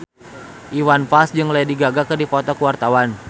Iwan Fals jeung Lady Gaga keur dipoto ku wartawan